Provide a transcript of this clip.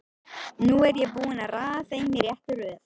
Nú er ég búinn að raða þeim í rétta röð.